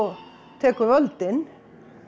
tekur völdin